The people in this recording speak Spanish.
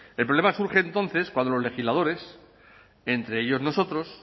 el problema surge entonces cuando los legisladores entre ellos nosotros